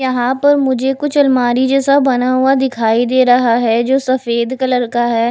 यहां पर मुझे कुछ अलमारी जैसा बना हुआ दिखाई दे रहा है जो सफेद कलर का है।